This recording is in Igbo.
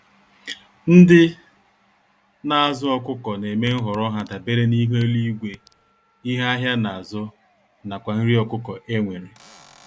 Ndị nazụ ọkụkọ némè' nhọrọ ha dabere n'ihu eluigwe, ihe ahịa nazụ, nakwa nri ọkụkọ enwere.